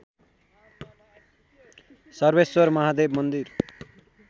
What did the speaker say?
सर्वेश्वर महादेव मन्दिर